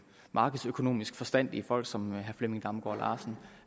markedsøkonomisk forstandige folk som herre flemming damgaard